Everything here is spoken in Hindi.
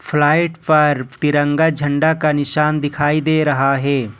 फ्लाइट पर तिरंगा झंडा का निशान दिखाई दे रहा है।